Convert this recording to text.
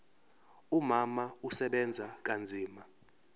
umama usebenza kanzima